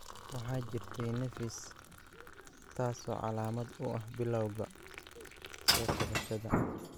Waxaa jirtay nafis, taasoo calaamad u ah bilawga soo kabashada.